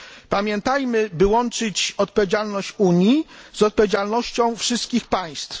Pamiętajmy o tym, by łączyć odpowiedzialność Unii z odpowiedzialnością wszystkich państw.